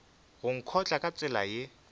go nkotla ka tsela ye